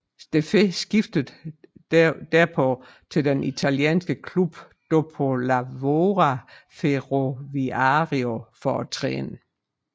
Steffè skiftede derpå til den italienske klub Dopolavoro Ferroviario for at træne